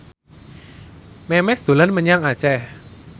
Memes dolan menyang Aceh